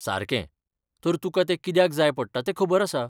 सारकें, तर तुका तें कित्याक जाय पडटा ते खबर आसा.